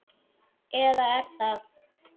Eða er það?